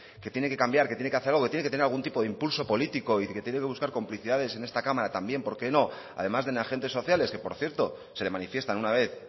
que tiene que cambiar que tiene que hacer algo que tiene que tener algún tipo de impulso político y que tiene que buscar complicidades en esta cámara también por qué no además de en agentes sociales que por cierto se le manifiestan una vez